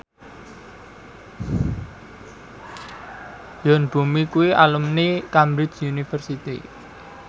Yoon Bomi kuwi alumni Cambridge University